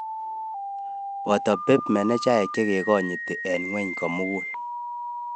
Poto pep manejaeek chek kanyiiti eng ngwony komugul